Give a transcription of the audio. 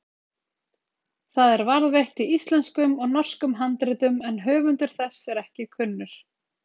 Það er varðveitt í íslenskum og norskum handritum en höfundur þess er ekki kunnur.